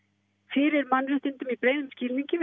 fyrir mannréttindum í breiðum skilningi